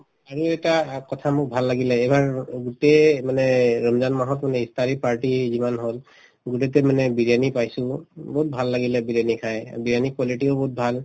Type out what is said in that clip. আৰু এটা অ কথা মোৰ ভাল লাগিলে এইবাৰ গোটেই মানে ৰমজান মাহত মানে ইফতাৰী party যিমান হল গোটেইতে মানে বিৰিয়ানিয়ে পাইছিলো বহুত ভাল লাগিলে বিৰিয়ানি খাই বিৰিয়ানি ৰ quality ও বহুত ভাল